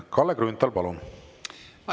Kalle Grünthal, palun!